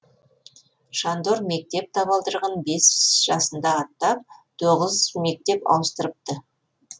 шандор мектеп табалдырығын бес жасында аттап тоғыз мектеп ауыстырыпты